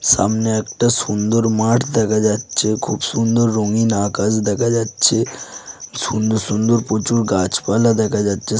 সামনে একটা সুন্দর মাঠ দেখা যাচ্ছে খুব সুন্দর রঙিন আকাশ দেখা যাচ্ছে সুন্দর সুন্দর প্রচুর গাছপালা দেখা যাচ্ছে ।